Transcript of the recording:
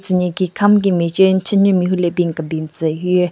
Tsü nyeki kam ki mache n-chanyu mehvu le bin kebin tsü hyu.